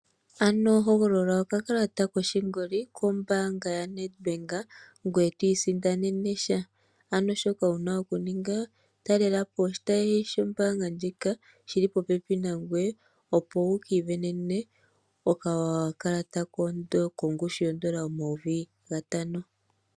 Hogolola okakalata koshingoli kombaanga ya Nedbank, ngoye to i si ndanene sha. Ano shoka wu na oku ninga, ta lela po oshitayi sho mbaanga ndjika , shili popepi nangoye, opo wu ki ivenene okakalata kongushu yoondola omayovi gatano.